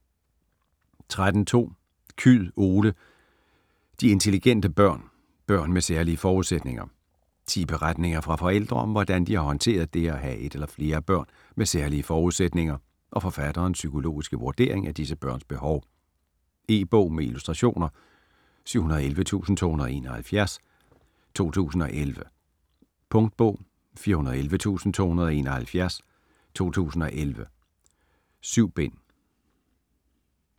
13.2 Kyed, Ole: De intelligente børn: børn med særlige forudsætninger Ti beretninger fra forældre om, hvordan de har håndteret det at have et eller flere børn med særlige forudsætninger, og forfatterens psykologiske vurdering af disse børns behov. E-bog med illustrationer 711271 2011. Punktbog 411271 2011. 7 bind.